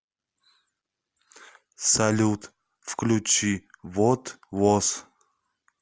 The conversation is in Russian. салют включи вот воз